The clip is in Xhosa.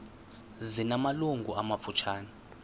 zina malungu amafutshane